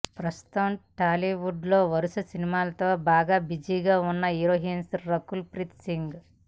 ప్రస్తుతం టాలీవుడ్ లో వరుస సినిమాలతో బాగా బిజీగా ఉన్న హీరోయిన్ రకుల్ ప్రీత్ సింగ్